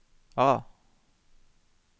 A